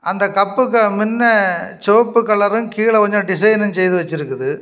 அந்தக் கப்புக்கு முன்னே செவப்பு கலரும் கீழ கொஞ்சம் டிசைனும் செய்து வச்சிருக்குது.